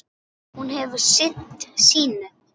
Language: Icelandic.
Hún hefur sinnt sínu.